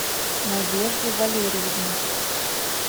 надежде валерьевне